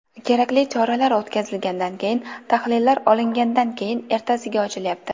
Kerakli choralar o‘tkazilgandan keyin, tahlillar olingandan keyin, ertasiga ochilyapti.